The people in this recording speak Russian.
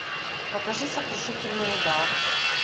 покажи сокрушительный удар